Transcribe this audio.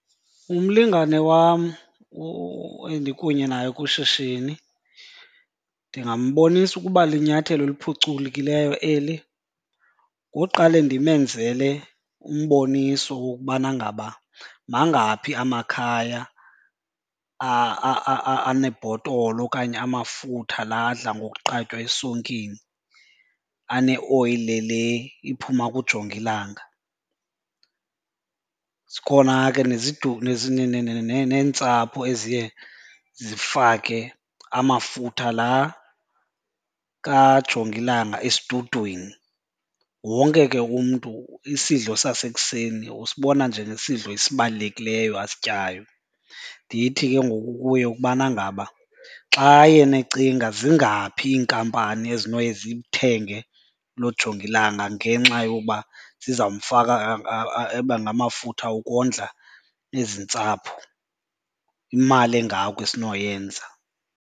Umlingane wam endikunye naye kwishishini ndingambonisa ukuba linyathelo eliphucukileyo eli ngoqale ndimenzele umboniso wokubana ngaba mangaphi amakhaya anebhotolo okanye amafutha la adla ngokuqatywa esonkeni aneoyile le iphuma kujongilanga. Zikhona ke neentsapho eziye zifake amafutha la kajongilanga esidudwini. Wonke ke umntu isidlo sasekuseni usibona njengesidlo esibalulekileyo asityayo. Ndithi ke ngoku kuye ukubana ngaba xa yena ecinga zingaphi iinkampani ezinoye zithenge lo jongilanga ngenxa yoba ziza mfaka abe ngamafutha ukondla ezi ntsapho. Imali engako esinoyenza.